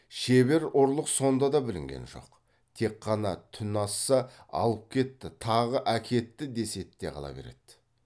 шебер ұрлық сонда да білінген жоқ тек қана түн асса алып кетті тағы әкетті десед те қала береді